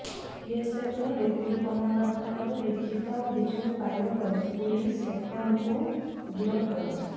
ବିଏସ୍ଏଫ୍ର deputy କମାଣ୍ଡାଣ୍ଟଙ୍କଠାରୁ ଲିଖିତ ଅଭିଯୋଗ ପାଇବା ପରେ ପୁଲିସ୍ ଶେଖ୍ଙ୍କୁ ଗିରଫ କରିଛି